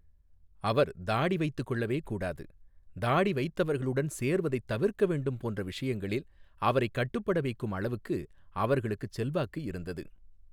அவர் தாடி வைத்துக்கொள்ளவே கூடாது, தாடி வைத்தவர்களுடன் சேர்வதை தவிர்க்க வேண்டும் போன்ற விஷயங்களில் அவரைக் கட்டுப்பட வைக்கும் அளவுக்கு அவர்களுக்குச் செல்வாக்கு இருந்தது.